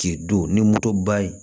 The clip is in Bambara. K'i don ni motoba ye